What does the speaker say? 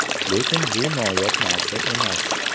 Lekin bu noyob narsa emas.